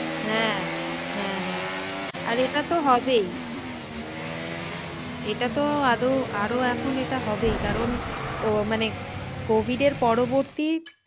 হ্যাঁ হ্যাঁ হ্যাঁ আর এটা তো হবেই এটা তো আদেও আরো এখন এটা হবেই কারণ মানে covid এর পরবর্তী,